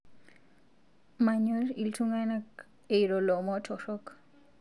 Manyor ltungana eiro lomo torok